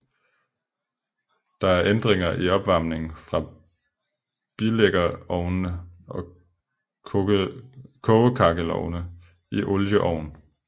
Der er ændringer i opvarmningen fra bilæggerovne over kogekakkelovne til olieovn